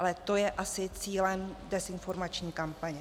Ale to je asi cílem dezinformační kampaně.